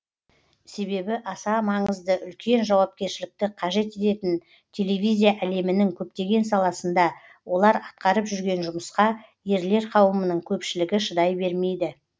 себебі аса маңызды үлкен жауапкершілікті қажет ететін телевизия әлемінің көптеген саласында олар атқарып жүрген жұмысқа ерлер қауымының көпшілігі шыдай бермейді